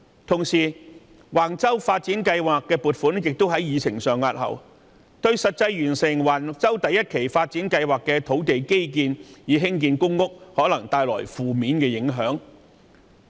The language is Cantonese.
同時，橫洲發展計劃的撥款項目亦在議程上押後，這對於完成橫洲第一期發展計劃的基建以興建公屋，可能帶來負面影響。